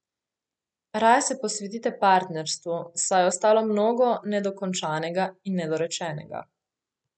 Raje se posvetite partnerstvu, saj je ostalo mnogo nedokončanega in nedorečenega.